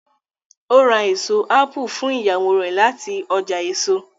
o rá eso apu fún Ìyàwó rẹ láti ọjà èso.